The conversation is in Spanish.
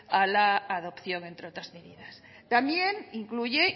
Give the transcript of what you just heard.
a la adopción entre otras medidas también incluye